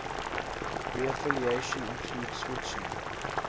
reaffiliation include switching